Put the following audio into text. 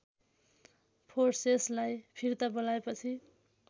फोर्सेसलाई फिर्ता बोलाएपछि